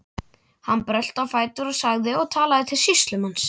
Hann brölti á fætur og sagði og talaði til sýslumanns